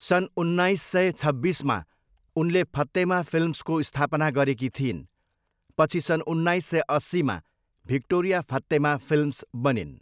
सन् उन्नाइस सय छब्बिसमा उनले फत्तेमा फिल्म्स को स्थापना गरेकी थिइन्। पछि सन् उन्नाइस सय अस्सीमा भिक्टोरिया फत्तेमा फिल्म्स बनिन्।